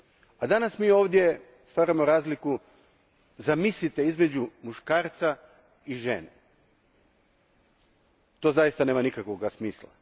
A danas mi ovdje stvaramo razliku između muškarca i žene. To zaista nema nikakvog smisla.